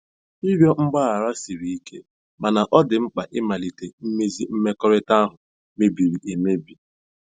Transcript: Ịrịọ mgbaghara siri ike, mana ọ dị mkpa ịmalite imezi mmekọrịta ahụ mebiri emebi.